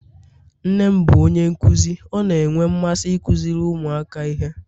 nne m bụ onye nkuzi, ọ na-enwe mmasị ịkụziri ụmụaka ihe